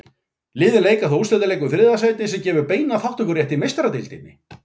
Liðin leika þá úrslitaleik um þriðja sætið sem gefur beinan þátttökurétt í Meistaradeildinni.